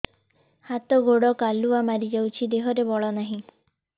ହାତ ଗୋଡ଼ କାଲୁଆ ମାରି ଯାଉଛି ଦେହରେ ବଳ ନାହିଁ